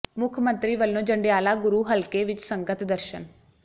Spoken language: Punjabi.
ਮੁੱਖ ਮੰਤਰੀ ਵੱਲੋਂ ਜੰਡਿਆਲਾ ਗੁਰੂ ਹਲਕੇ ਵਿੱਚ ਸੰਗਤ ਦਰਸ਼ਨ